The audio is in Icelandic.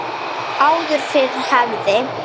Áður fyrr hafði